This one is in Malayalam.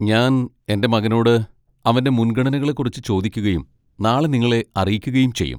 ഞാൻ എന്റെ മകനോട് അവന്റെ മുൻഗണനകളെക്കുറിച്ച് ചോദിക്കുകയും നാളെ നിങ്ങളെ അറിയിക്കുകയും ചെയ്യും.